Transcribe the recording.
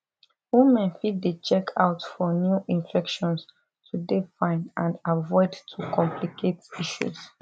women fit dey check out for new infections to dey fine and avoid to complicate issues